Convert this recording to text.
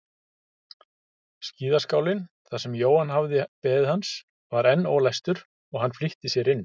Skíðaskálinn þar sem Jóhann hafði beðið hans var enn ólæstur og hann flýtti sér inn.